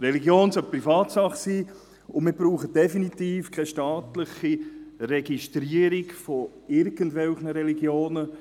Religion sollte Privatsache sein, und wir brauchen definitiv keine staatliche Registrierung von irgendwelchen Religionen.